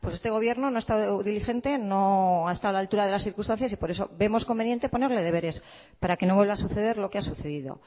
pues este gobierno no ha estado diligente no ha estado a la altura de las circunstancias y por eso vemos conveniente ponerle deberes para que no vuelva a suceder lo que ha sucedido